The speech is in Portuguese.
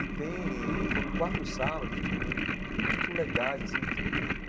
E tem e foram quatro sábados de muito legais assim.